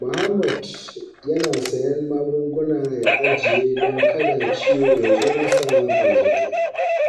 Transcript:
Mahmud yana siyan magunguna ya ajiye don kada ciwo ya zo masa ba zato.